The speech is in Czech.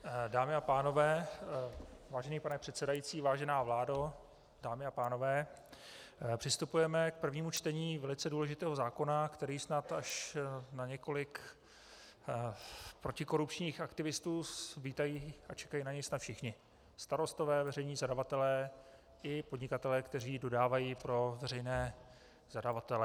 Dámy a pánové, vážený pane předsedající, vážená vládo, dámy a pánové, přistupujeme k prvnímu čtení velice důležitého zákona, který snad až na několik protikorupčních aktivistů vítají a čekají na něj snad všichni - starostové, veřejní zadavatelé i podnikatelé, kteří dodávají pro veřejné zadavatele.